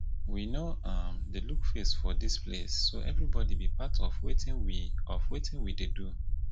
we no um dey look face for dis place so everybody be part of wetin we of wetin we dey do